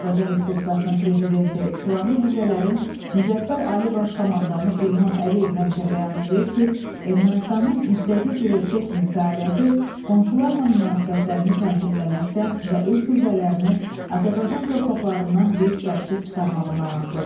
Azərbaycan Respublikasının Prezidenti, Silahlı Qüvvələrin Müzəffər Ali Baş Komandanı İlham Əliyev həmişə bəyan eləyir ki, Ermənistanın müstəqil bir ölkə kimi fəaliyyəti qonşularla münasibətlərini tənzimləməkdən və öz qüvvələrini Azərbaycan torpaqlarından qeyd-şərtsiz çıxarmağından asılıdır.